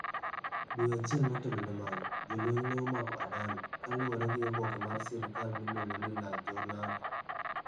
Dwe achiel motelo ne mano, jolweny ne omako Adame, kaluwore gi oboke mar sirkal miluongo ni La Jornada.